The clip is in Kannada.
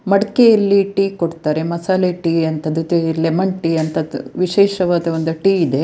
ಮಡಿಕೆ ಅಲ್ಲಿ ಟೀ ಕೊಡ್ತಾರೆ ಮಸಾಲೆ ಟೀ ಅಂತದ್ದು ಲೇಮನ್ ಟೀ ಅಂತದ್ ವಿಶೇಷ ವಾದ ಟೀ ಇದೆ.